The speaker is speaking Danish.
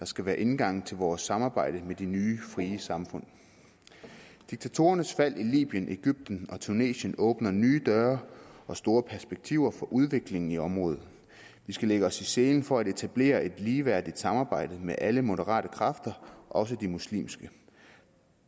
skal være indgangen til vores samarbejde med de nye frie samfund diktatorernes fald i libyen egypten og tunesien åbner nye døre og store perspektiver for udviklingen i området vi skal lægge os i selen for at etablere et ligeværdigt samarbejde med alle moderate kræfter også de muslimske